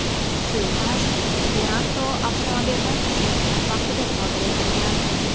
Suiqasd Viranto avtomobildan tushayotgan vaqtida sodir etilgan.